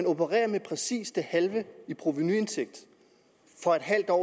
opererer med præcis det halve i provenu for et halvt år